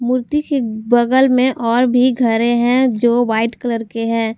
मूर्ति के बगल में और भी घरे हैं जो वाइट कलर के हैं।